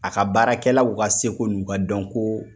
A ka baarakɛlaw ka seko n'u ka dɔnkoo